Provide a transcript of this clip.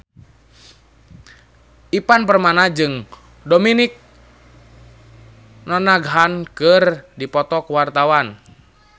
Ivan Permana jeung Dominic Monaghan keur dipoto ku wartawan